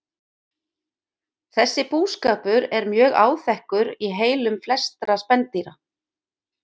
Þessi búskapur er mjög áþekkur í heilum flestra spendýra.